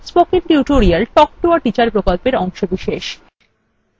spoken tutorial talk to a teacher প্রকল্পের অংশবিশেষ